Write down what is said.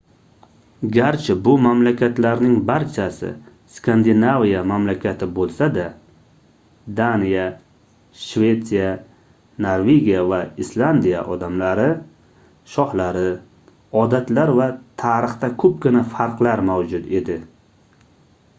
garchi bu mamlakatlarning barchasi skandinaviya mamlakati boʻlsada daniya shvetsiya norvegiya va islandiya odamlari shohlari odatlar va tarixida koʻpgina farqlar mavjud edi